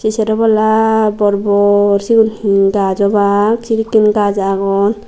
sero palla bor bor sigun he gaj obak sedekkin gaj agon.